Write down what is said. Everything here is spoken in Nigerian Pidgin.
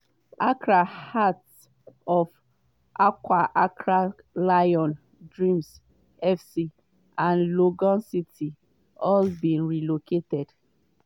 accra hearts of oak accra lions dreams fc and legon cities all bin relocate.